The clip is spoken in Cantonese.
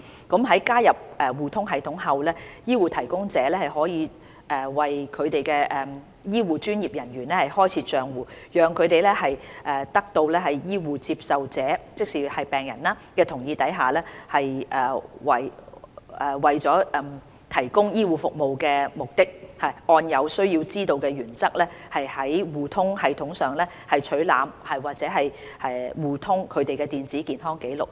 在加入互通系統後，醫護提供者可以為其醫護專業人員開設帳戶，讓他們在得到醫護接受者的同意下，為了提供醫護服務的目的，按"有需要知道"的原則，在互通系統上取覽或互通他們的電子健康紀錄。